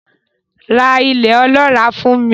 Ra ilẹ̀ ọlọ́ràá fún mi.